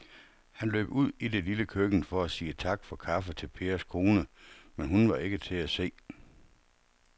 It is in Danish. Han løb ud i det lille køkken for at sige tak for kaffe til Pers kone, men hun var ikke til at se.